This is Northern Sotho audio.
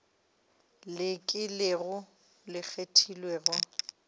le ke leo le kgethegilego